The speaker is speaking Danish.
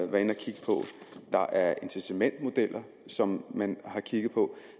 der er incitamentsmodeller som man har kigget på